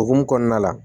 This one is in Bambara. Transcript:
Okumu kɔnɔna la